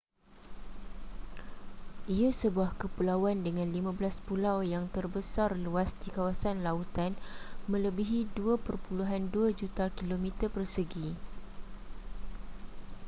ia sebuah kepulauan dengan 15 pulau yang tersebar luas di kawasan lautan melebihi 2.2 juta km2